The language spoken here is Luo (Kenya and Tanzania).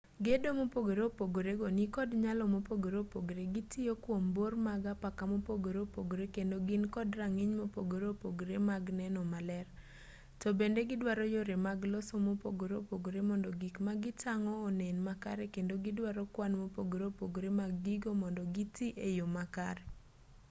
gedo mopogore opogore go nikod nyalo mopogore opogore gitiyo kwom bor mag apaka mopogore opogore kendo gin kod rang'iny mopogore opogore mag neno maler to bende giduaro yore mag loso mopogore opogore mondo gik ma gitang'o onen makare kendo giduaro kwan mopogore opogore mag gigo mondo gitii e yo makare